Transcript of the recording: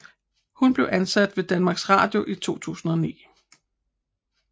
Hun blev ansat ved Danmarks Radio i 2009